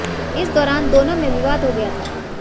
इस दौरान दोनों में विवाद हो गया था